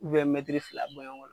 fila bɔɲɔgo la.